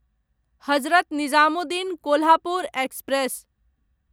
Hazrat Nizamuddin Kolhapur express